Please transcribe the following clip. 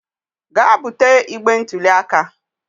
Gaa bute igbe ntụli aka